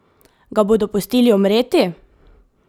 Ga bodo pustili umreti?